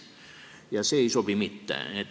Ja see ei sobi mitte.